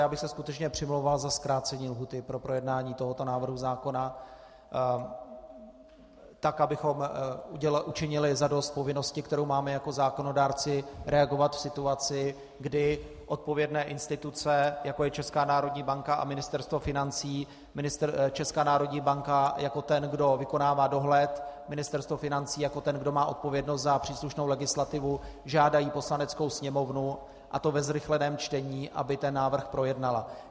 Já bych se skutečně přimlouval za zkrácení lhůty pro projednání tohoto návrhu zákona tak, abychom učinili zadost povinnosti, kterou máme jako zákonodárci reagovat v situaci, kdy odpovědné instituce, jako je Česká národní banka a Ministerstvo financí, Česká národní banka jako ten, kdo vykonává dohled, Ministerstvo financí jako ten, kdo má odpovědnost za příslušnou legislativu, žádají Poslaneckou sněmovnu, a to ve zrychleném čtení, aby ten návrh projednala.